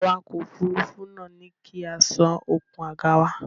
Awakọ̀ òfurufú náà ní kí á sán okùn àga wa.